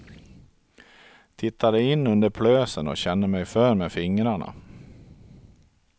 Tittade in under plösen och kände mig för med fingrarna.